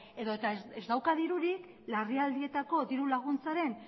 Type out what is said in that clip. edo eta ez dauka dirurik larrialdietako diru laguntzaren